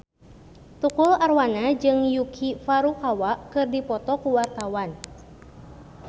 Tukul Arwana jeung Yuki Furukawa keur dipoto ku wartawan